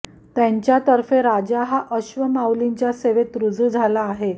यांच्या तर्फे राजा हा अश्व माऊलींच्या सेवेत रुजू झाला आहे